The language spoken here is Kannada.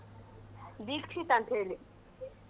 ದೀಕ್ಷಿತ್ ಅಂತ್ ಹೇಳಿ.